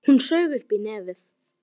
Hún saug upp í nefið.